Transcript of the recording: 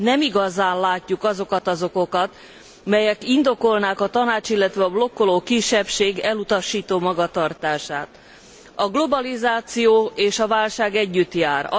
Nem igazán látjuk azokat az okokat, melyek indokolnák a Tanács, illetve a blokkoló kisebbség elutasító magatartását. A globalizáció és a válság együtt jár.